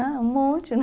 Ah, um monte, né?